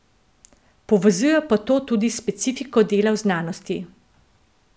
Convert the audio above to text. Povezuje pa to tudi s specifiko dela v znanosti.